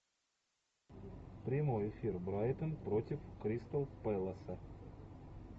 прямой эфир брайтон против кристал пэласа